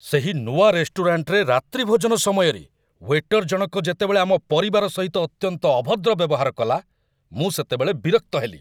ସେହି ନୂଆ ରେଷ୍ଟୁରାଣ୍ଟରେ ରାତ୍ରିଭୋଜନ ସମୟରେ ୱେଟର୍‌ଜଣକ ଯେତେବେଳେ ଆମ ପରିବାର ସହିତ ଅତ୍ୟନ୍ତ ଅଭଦ୍ର ବ୍ୟବହାର କଲା, ମୁଁ ସେତେବେଳେ ବିରକ୍ତ ହେଲି।